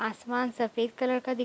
आसमान सफ़ेद कलर का दि --